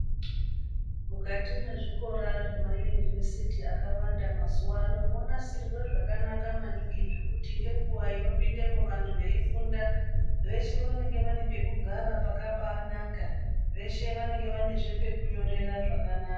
Mukati mwezvikora zvema yunivhesiti akawanda mazuwano mwonasirwe zvakanaka maningi zvekuti ngenguwa inopindemwo vantu veifunda veshe vanenge vane pekugara pakanaka, veshezve vanenge vane pekunyorera pakanaka.